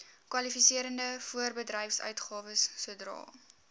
kwalifiserende voorbedryfsuitgawes sodra